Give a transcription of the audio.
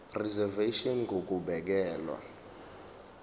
reservation ngur ukubekelwa